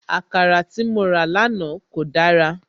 Àkàrà tí mo rà lánàá kò dára